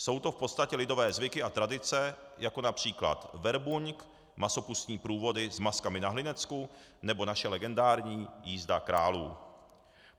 Jsou to v podstatě lidové zvyky a tradice, jako například verbuňk, masopustní průvody s maskami na Hlinecku nebo naše legendární jízda králů.